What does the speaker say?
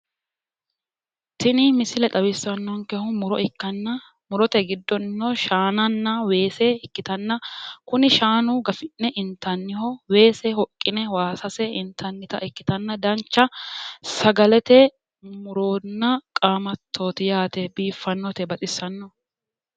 tini misile xawissannonkehuno muro ikkitanna murote giddonnino shaananna weese ikkitanna kuni shaanu gafi'ne intannite weese kayiinni hoqqine waasase intannita ikkitanna dancha sagalete muronna qaamattooti yaate biiffannote baxissanno.